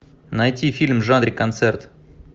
найти фильм в жанре концерт